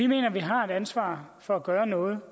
mener vi har et ansvar for at gøre noget